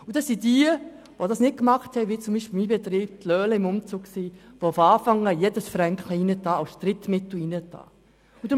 Diejenigen, die dies wie mein Betrieb nicht taten, waren die Gelackmeierten, die von Anfang an jeden Franken als Drittmittel einbrachten.